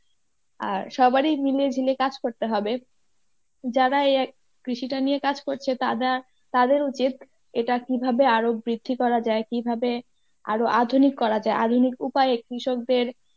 আর সবারই মিলিয়ে ঝুলিয়ে কাজ করতে হবে যারা এই কৃষিটা নিয়ে কাজ করছে তারা তাদের উচিত এটা কীভাবে আরো বৃদ্ধি করা যায় কীভাবে আরো আধুনিক করা যায় আধুনিক উপায়ে কৃষকদের